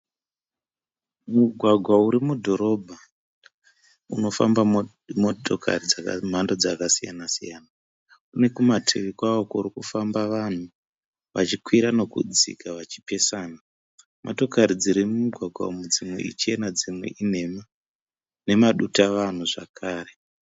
Mugwagwa urimudhorobha unofamba motokari dzemhando dzakasiyana-siyana. Unekumativi kwawo kurikufamba vanhu vachikwira nekudzika vachipesana. Motokari dzirimumugwagwa uyu dzimwe ichena dzimwe inhema nemadutavanhu zvakare.